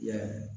I ya